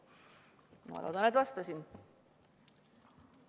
Ma loodan, et ma vastasin teile.